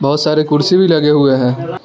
बहोत सारे कुर्सी भी लगे हुए है।